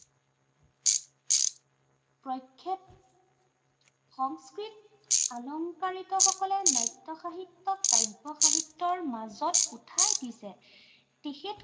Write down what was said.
প্ৰক্ষেপ সংস্কৃত, আলংকাৰিতসকলে নাট্য় সাহিত্য়ক কাব্য় সাহিত্য়ৰ মাজত উঠাই দিছে,